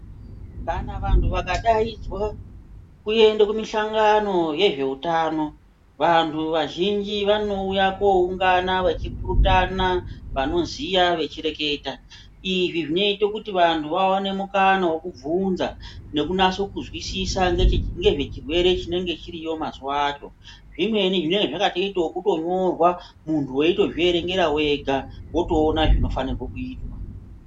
Kana vantu vakadaidzwa kuende kumushongano yezveutano vantu vazhinji vanouya koungana vachipurutana vanoziya vachireketa izvi zvinoite kuti vantu vaone mukana wekubvunza nekunase kuzwisisa ngeche ngezvezvirwere zvinenge zviriyo mazuwa acho zvimweni zvinenge zvakatoite ekutonyorwa muntu weitozvierengera wega wotoona zvinofanirwe kuitwa.